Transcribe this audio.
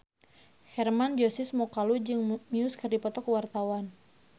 Hermann Josis Mokalu jeung Muse keur dipoto ku wartawan